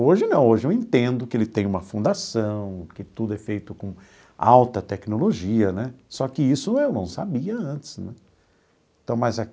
Hoje não, hoje eu entendo que ele tem uma fundação, que tudo é feito com alta tecnologia né, só que isso eu não sabia antes né então mas.